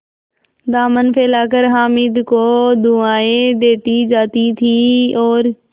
दामन फैलाकर हामिद को दुआएँ देती जाती थी और